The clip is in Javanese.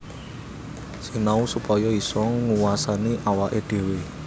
Sinau supaya isa nguwasani awaké dhéwé